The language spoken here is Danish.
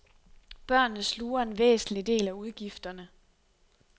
Børnene sluger en væsentlig del af udgifterne.